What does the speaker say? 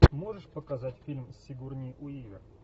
можешь показать фильм с сигурни уивер